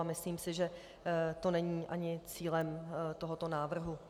A myslím si, že to není ani cílem tohoto návrhu.